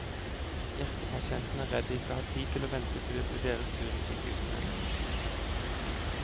Hjertepasientene er redd de ikke har tid til å vente til det blir deres tur i sykehuskøen.